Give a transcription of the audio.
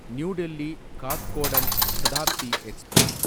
new Delhi Kathgodam Shatabdi express